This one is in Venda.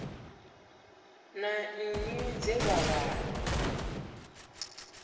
na nnyi dze vha wana